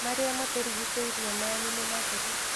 Marĩa matũrigicĩirie manyu nĩ matheru